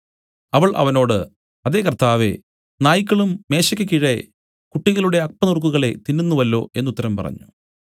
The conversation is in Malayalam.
അവൾ അവനോട് അതേ കർത്താവേ നായ്ക്കളും മേശെയ്ക്ക് കീഴെ കുട്ടികളുടെ അപ്പനുറുക്കുകളെ തിന്നുന്നുവല്ലോ എന്നു ഉത്തരം പറഞ്ഞു